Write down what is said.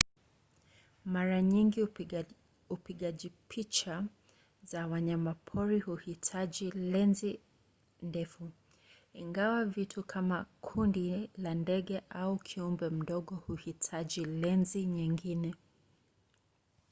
mara nyingi upigaji picha za wanyamapori huhitaji lenzi ndefu ingawa vitu kama kundi la ndege au kiumbe mdogo huhitaji lenzi nyingine